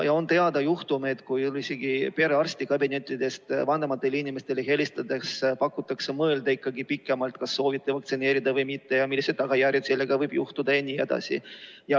On teada juhtumeid, kui isegi perearstikabinetist on helistatud vanematele inimestele ja palutud mõelda pikemalt, kas soovitakse vaktsineerida või mitte ja millised tagajärjed sellega võivad kaasneda.